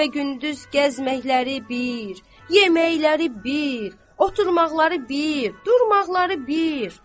Gecə və gündüz gəzməkləri bir, yeməkləri bir, oturmaqları bir, durmaqları bir.